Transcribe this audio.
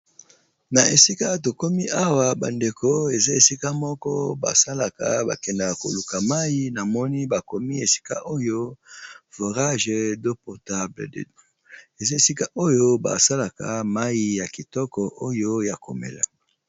Na esika to komi awa bandeko eza esika moko basalaka bakendeka koluka mai na moni bakomi esika oyo vorage doportable eza esika oyo basalaka mai ya kitoko oyo ya komela